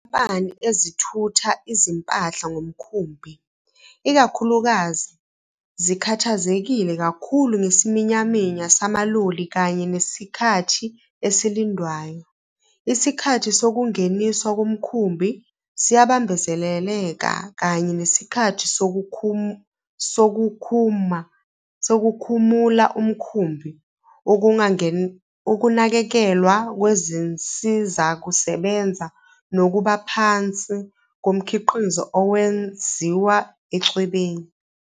Izinkampani ezithutha izimpahla ngomkhumbi, ikakhulukazi, zikhathazekile kakhulu ngesiminyaminya samaloli kanye nesikhathi esilindwayo, isikhathi sokungeniswa komkhumbi siyabambezeleka kanye nesikhathi sokukhumu la umkhumbi, ukunganakekelwa kwezinsizakusebenza nokubaphansi komkhiqizo owenziwa echwebeni.